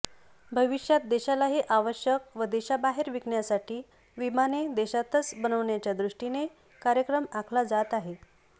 भविष्यात देशालाही आवश्यक व देशाबाहेर विकण्यासाठी विमाने देशातच बनविण्याच्यादृष्टीने कार्यक्रम आखला जात आहे